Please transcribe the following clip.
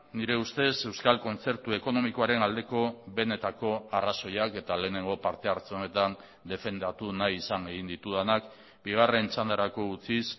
nire ustez euskal kontzertu ekonomikoaren aldeko benetako arrazoiak eta lehenengo parte hartze honetan defendatu nahi izan egin ditudanak bigarren txandarako utziz